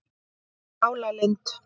Álalind